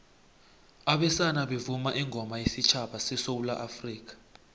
abesana bavuma ingoma wesutjhaba sesewula afrikha